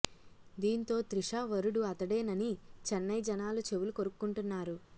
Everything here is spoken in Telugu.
దీంతో త్రిష వరుడు అతడేనని చెన్నై జనాలు చెవులు కొరుక్కుంటున్నారు